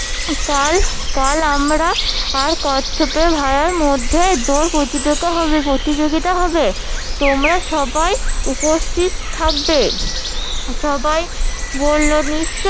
কাল কাল আমরা আর কচ্ছপ ভায়ার মধ্যে দৌড় প্রতিযোগি ~ প্রতিযোগিতা হবে তোমরা সবাই উপস্থিত থাকবে সবাই বললো নিশ্চই